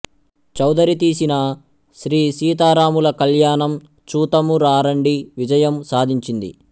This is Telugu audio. చౌదరి తీసిన శ్రీ సీతారాముల కళ్యాణం చూతము రారండి విజయం సాధించింది